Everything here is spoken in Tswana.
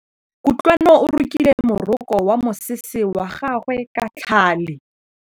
Kutlwanô o rokile morokô wa mosese wa gagwe ka tlhale.